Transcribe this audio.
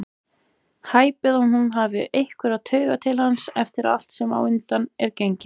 Hæpið að hún hafi einhverjar taugar til hans eftir allt sem á undan er gengið.